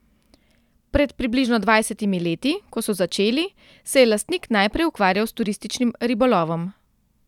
Pred približno dvajsetimi leti, ko so začeli, se je lastnik najprej ukvarjal s turističnim ribolovom.